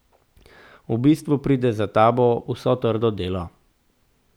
V bistvu pride za tabo vso trdo delo.